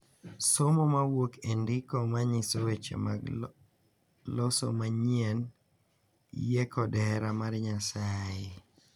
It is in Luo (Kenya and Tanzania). Somo mawuok e ndiko ma nyiso weche mag loso manyien, yie, kod hera mar Nyasaye.